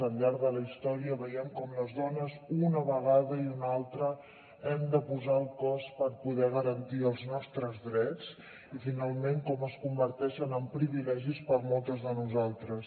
al llarg de la història veiem com les dones una vegada i una altra hem de posar el cos per poder garantir els nostres drets i finalment com es converteixen en privilegis per a moltes de nosaltres